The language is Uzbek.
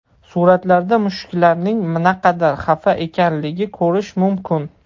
Suratlarda mushuklarning naqadar xafa ekanligini ko‘rish mumkin.